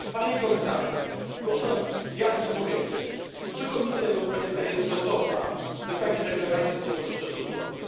Panie Komisarzu, proszę nam jasno powiedzieć, czy Komisja Europejska jest gotowa, by takie deklaracje podczas szczytu złożyć?